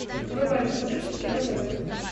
врубай на смотрешке кино тв